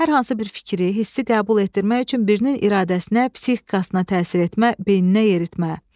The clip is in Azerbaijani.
hər hansı bir fikri, hissi qəbul etdirmək üçün birinin iradəsinə, psixikasına təsir etmə, beyninə yeritmə.